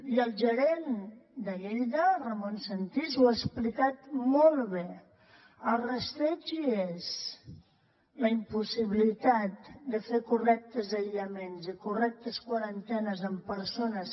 i el gerent de lleida ramon sentís ho ha explicat molt bé el rastreig hi és la impossibilitat de fer correctes aïllaments i correctes quarantenes amb persones